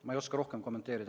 Ma ei oska rohkem kommenteerida.